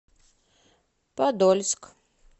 подольск